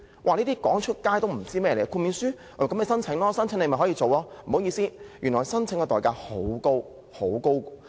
這些資料說出來也沒有人知道，別以為申請豁免書便可以做，不好意思，原來申請的代價很高。